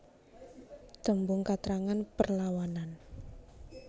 Tembung katrangan perlawanan